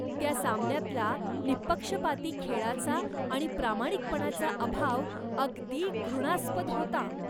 त्या सामन्यातला निहीपक्षपाती खेळाचा आणि प्रामाणिकपणाचा अभाव अगदी घृणास्पद होता.